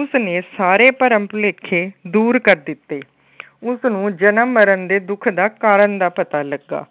ਉਸਨੇ ਸਾਰੇ ਭਰਮ ਭੁਲੇਖੇ ਦੂਰ ਕਰ ਦਿੱਤੇ। ਉਸਨੂੰ ਜਨਮ ਮਰਨ ਦੇ ਦੁੱਖ ਦਾ ਕਾਰਨ ਦਾ ਪਤਾ ਲੱਗਾ।